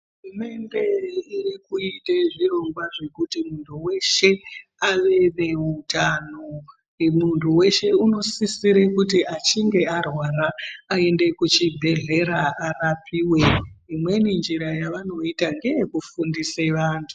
Hurumende irikuite zvirongwa zvekuti muntu weshe ave neutano. Muntu weshe unosisire kuti achinge arwara aende kuchibhehlera arapiwe. Imweni njira yavanoita ngeyekufundise vantu.